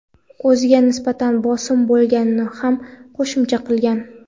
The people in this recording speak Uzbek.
o‘ziga nisbatan bosim bo‘lganini ham qo‘shimcha qilgan.